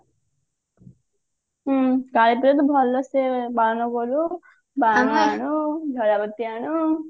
ହଁ କାଳି ପୂଜା ତ ଭଲସେ ପାଳନ କରୁ ବାଣ ଆଣୁ ଆଣୁ